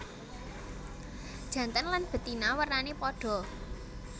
Jantan lan betina wernané padha